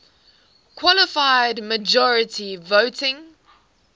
qualified majority voting